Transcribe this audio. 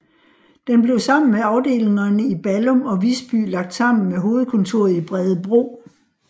Den blev sammen med afdelingerne i Ballum og Visby lagt sammen med hovedkontoret i Bredebro